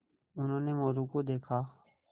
उन्होंने मोरू को देखा